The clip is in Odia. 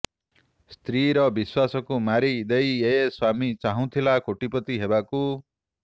ସ୍ତ୍ରୀର ବିଶ୍ୱାସକୁ ମାରି ଦେଇ ଏ ସ୍ୱାମୀ ଚାହୁଁଥିଲା କୋଟିପତି ହେବାକୁ